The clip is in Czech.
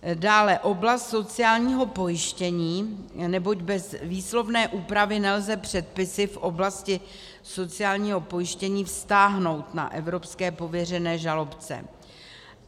Dále oblast sociálního pojištění, neboť bez výslovné úpravy nelze předpisy v oblasti sociálního pojištění vztáhnout na evropské pověřené žalobce.